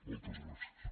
moltes gràcies